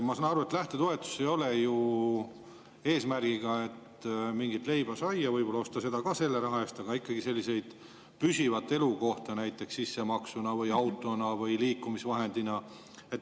Ma saan aru, et lähtetoetus ei ole ju eesmärgiga, et mingit leiba-saia osta, seda küll ka selle raha eest, aga see on ikkagi näiteks püsiva elukoha eest sissemaksu või auto või liikumisvahendi jaoks.